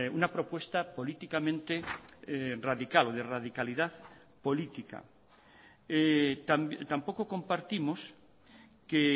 una propuesta políticamente radical o de radicalidad política tampoco compartimos que